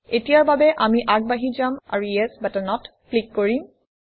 এতিয়াৰ বাবে আমি আগবাঢ়ি যাম আৰু ইএছ বাটনত ক্লিক কৰিম